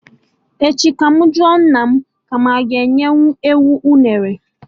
Echi ka mụ jụọ nna mụ ma anyị aga enyenwu enwe unere